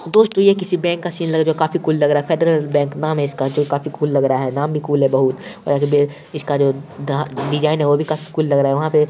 दोस्तो यह किसी बैंक का सीन लग रहा है जो की काफी कुल लग रहा है फेडरल बैंक नाम है इसका जो की काफी कुल लग रहा है। नाम भी कूल है बहुत और जो इसका जो धा डिजाइन है वो भी काफी कुल लग रहा है। वहां पे--